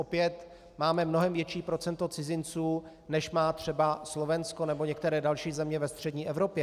Opět máme mnohem větší procento cizinců, než má třeba Slovensko nebo některé další země ve střední Evropě.